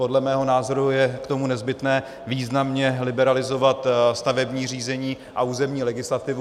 Podle mého názoru je k tomu nezbytné významně liberalizovat stavební řízení a územní legislativu.